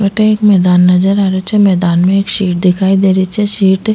अठे एक मैदान नजर आ रेहो छे मैदान में एक शीट दिखाई दे री छे शीट --